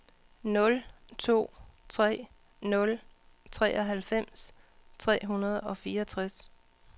nul to tre nul treoghalvfems tre hundrede og fireogtres